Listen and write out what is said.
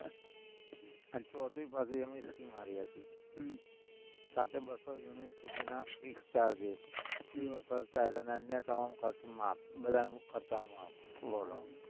અને ચોથી પાછી એની scheme સારી હતી, હમ સાથે બસ્સો યુનિટ સુધીના fix ચાર દિવસ અને અન્ય ના ખર્ચા માફ, બધા ખર્ચા માફ બોલો